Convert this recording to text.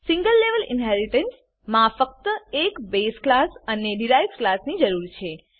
single level ઇનહેરીટન્સમાં ફક્ત એક બેઝ ક્લાસ અને ડીરાઇવ્ડ ક્લાસની જરૂર છે